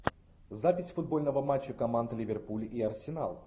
запись футбольного матча команд ливерпуль и арсенал